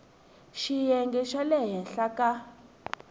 xiyenge xa le henhla eka